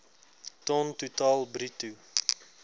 ton totaal bruto